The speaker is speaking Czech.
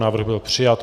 Návrh byl přijat.